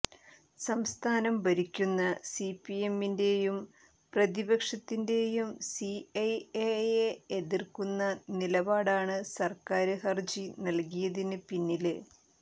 സംസ്ഥാനം ഭരിക്കുന്ന സിപിഎമ്മിന്റെയും പ്രതിപക്ഷത്തിന്റെയും സിഎഎയെ എതിര്ക്കുന്ന നിലപാടാണ് സര്ക്കാര് ഹര്ജി നല്കിയതിന് പിന്നില്